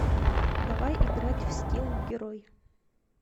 давай играть в скилл герой